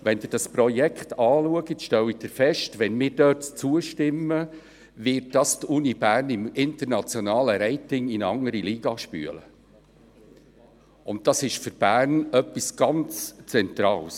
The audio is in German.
Wenn Sie es betrachten, stellen Sie fest, dass es die Universität Bern im internationalen Ranking in eine andere Liga spülen wird, wenn wir dort zustimmen, und das ist für Bern etwas ganz Zentrales.